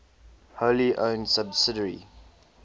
wholly owned subsidiary